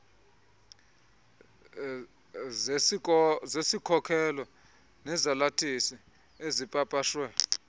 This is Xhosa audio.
zesikhokelo nezalathisi ezipapashwe